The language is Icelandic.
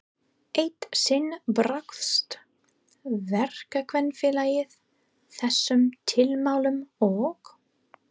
Eitt sinn brást Verkakvennafélagið þessum tilmælum og